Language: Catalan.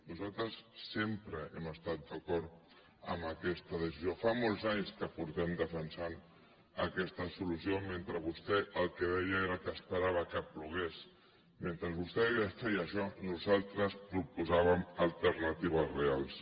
nosaltres sempre hem estat d’acord amb aquesta decisió fa molts anys que defensem aquesta solució mentre que vostè el que deia era que esperava que plogués mentre vostè feia això nosaltres proposàvem alternatives reals